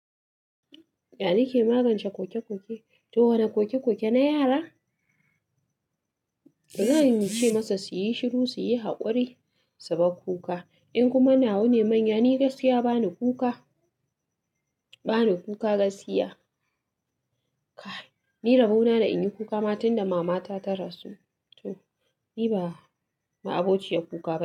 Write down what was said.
Ya nake magance kokekoke? To wane kokekoke na yara? Zan ce masa su yi shiru, su yi haƙuri su bar kuka. In kuma na wane manya, ni gaskiya ba ni kuka, ba ni kuka gaskiya. Kai, ni rabo na da inyi kuka matin da mama ta ta rasu. To ni ba ma abociya kuka.